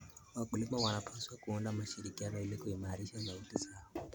Wakulima wanapaswa kuunda mashirikisho ili kuimarisha sauti zao.